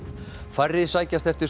færri sækjast eftir